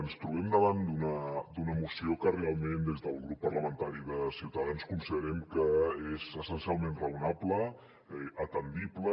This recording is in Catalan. ens trobem davant d’una moció que realment des del grup parlamentari de ciutadans considerem que és essencialment raonable atendible